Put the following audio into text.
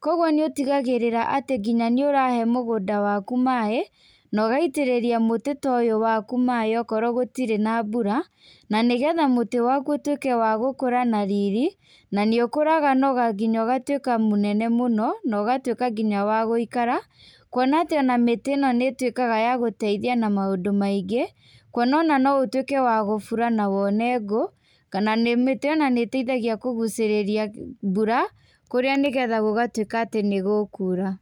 koguo nĩũtigarĩra atĩ nginya nĩũrahe mũgũnda waku maĩ, na ũgaitĩrĩria mũtĩ wakũ maĩ, okorwo gũtirĩ na mbura na nĩgetha mũtĩ waku ũtuĩke wa gũkũra na riri, na nĩũkũraga nginya ũgatuĩka mũnene mũno na ũgatuĩka nginya wa gũikara, kuona atĩ mĩtĩ ĩno nĩĩtuĩkaga ya gũteithia na maũndũ maingĩ. Kuona ona ũtuĩke wa kũbura na wone ngũ, kana mĩtĩ ona nĩĩtuĩkaga ya kũguchĩrĩria mbura, kũrĩa nĩgetha gũgatuĩka atĩ nĩgũkura.